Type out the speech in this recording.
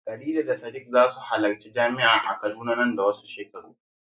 Khadija da Sadiq za su halarci jami'a a Kaduna nan da wasu shekaru.